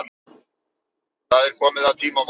Það er komið að tímamótunum.